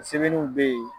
Sɛbɛnniw bɛ yen